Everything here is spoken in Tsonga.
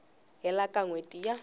hela ka n hweti ya